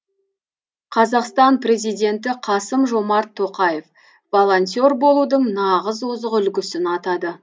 қазақстан президенті қасым жомарт тоқаев волонтер болудың нағыз озық үлгісін атады